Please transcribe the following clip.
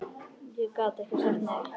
Ég gat ekki sagt nei.